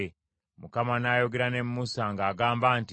Mukama n’ayogera ne Musa, ng’agamba nti,